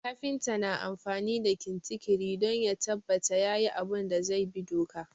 Kafinta na amfani da kintikiri don ya tabbata yayi abun da zai bi doka